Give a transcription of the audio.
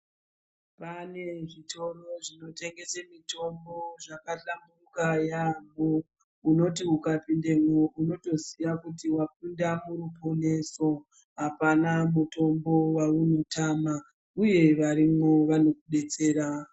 Pane zvitoro zvino tengese mitombo zvaka hlamburuka yamho unoti uka pindemwo unoto ziya kuti wapinda muru poneso apana mutombo waono tama uye varimwo vanoku detsera.